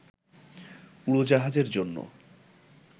উড়োজাহাজের জন্য